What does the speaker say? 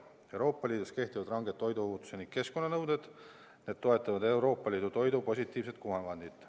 Euroopa Liidus kehtivad ranged toiduohutus- ning keskkonnanõuded toetavad Euroopa Liidu toidu positiivset kuvandit.